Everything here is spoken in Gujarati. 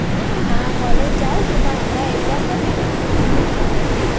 હા college જાવું છુ. પણ હમણાં exam પતી ને તો પછી નહીં જાતી.